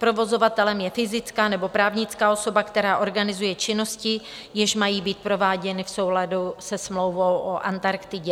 Provozovatelem je fyzická nebo právnická osoba, která organizuje činnosti, jež mají být prováděny v souladu se smlouvou o Antarktidě.